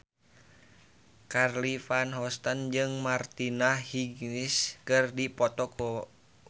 Charly Van Houten jeung Martina Hingis keur dipoto ku wartawan